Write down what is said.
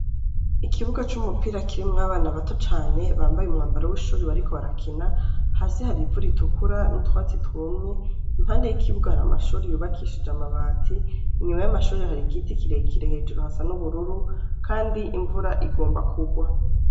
Ikibuga c'umupira kirimwo abana bato cane bambaye umwambaro w'ishure bariko barakina, hasi hari ivu ritukura n'utwatsi twumye, impande y'ikibuga hari amashure yubakishije amabati, inyuma y'amashure hari igiti kirekire, hejuru hasa n'ubururu kandi imvura igomba kugwa.